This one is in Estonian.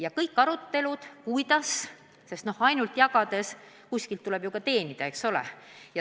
Aga kuskilt peab see raha ju ka tulema, eks ole.